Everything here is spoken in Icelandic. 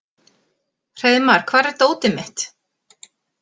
Hreiðmar, hvar er dótið mitt?